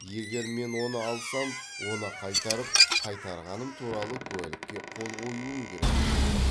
егер мен оны алсам оны қайтарып қайтарғаным туралы куәлікке қол қоюым керек дейді ол